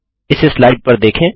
इस स्लाइड पर देखें